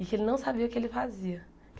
e que ele não sabia o que ele fazia.